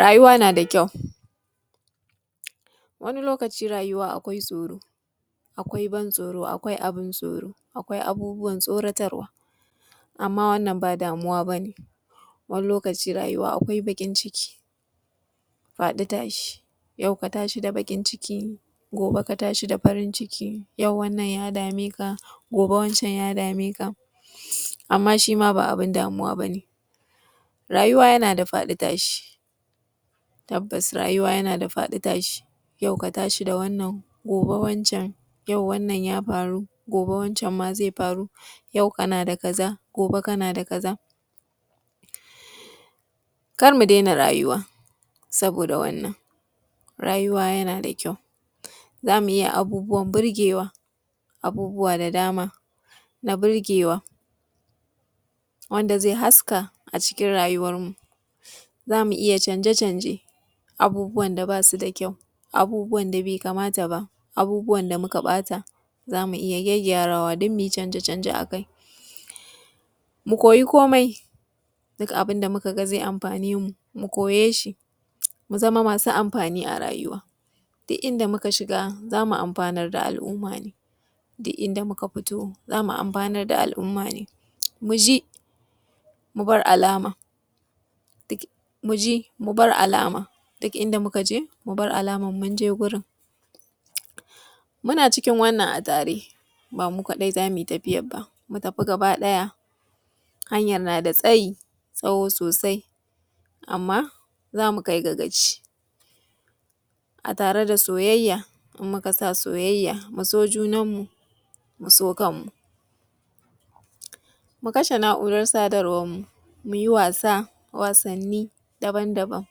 Rayuwa na ƙyau ,wani lokaci akwai ban tsoro akwai abun tsoro, akwai abubuwan tsoratarwa amma wanna ba damuwa ba ne. Wani lokaci rayuwa akwai bakin ciki, faɗi tashi. Yau ka tashi da baƙi cikin gobe ka tashi da farin ciki, wannan ya dame ka gobe wancen ya dame ka. Amma shi ma ba abun damuwa ba ne. Rayuwa yana da faɗi tashi tabbas rayuwa yana da faɗi tashi, yau ka shi da wannan gobe ka tashi da wancen. Yau wannan ya faru, gobe wancan zai faru. Yau kana da kaza, gobe kana da kaza. Kar mu daina rayuwa saboda wannan, rayuwa yana da ƙyau za mu iya abubuwan burgewa wanda zai haska a cikin rayuwarmu. Za mu iya canje-canje da ba su da ƙyau abubuwan da bai kamata ba, abubuwan da muka bata za mu iya gyarawa mu yi canje-canje a kai. Mu koya komai duk abun da muka ga zai amfane mu, mu koye shi mu zama masu amfani a rayuwa. Duk inda muka shiga za mu amfanar da al'umma ne, duk inda muka fito za mu amfanar da al'umma ne. Mu ji mun bar alama duk inda muka je mu bar alamar mun je wurin, muna cikin wannan a tare ba mu kadai za mu yi tafiyar ba mu tafi gaba ɗaya. Hanyar na da tsayi ,tsawo sosai. Amma za mu kai ga gaci a tare da soyayya idan muka sa soyayya. Mu do junanmu, mu so kanmu. Mu kashe na'urar sadarwarmu mu yi wasa da wasanni daban-daban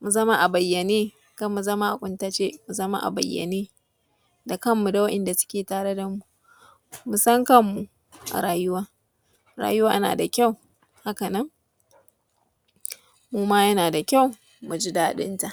..mu zama a bayyane kar mu zama a kuntace, mu zama a bayyane da kanmu da waɗanda suke tare da mu. Mu san kanmu a rayuwa, rayuwa na da ƙyau mu ma yana da ƙyau mu ji dadinta.